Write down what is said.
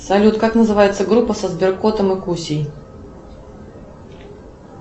салют как называется группа со сберкотом и кусей